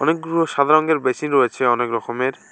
অনেকগুলো সাদা রঙের বেসিন রয়েছে অনেক রকমের।